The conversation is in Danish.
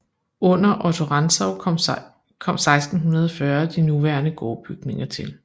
Under Otto Rantzau kom 1640 de nuværende gårdbygninger til